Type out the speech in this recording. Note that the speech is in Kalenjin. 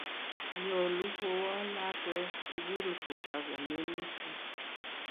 nyoluu kuwo lakwee sukul kotakominik